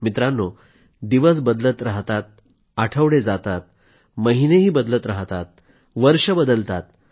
मित्रांनो दिवस बदलत राहतात आठवडे जातात महिनेही बदलत राहतात वर्ष बदलतात